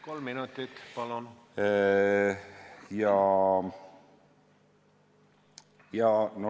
Kolm minutit, palun!